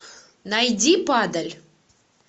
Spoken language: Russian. найди падаль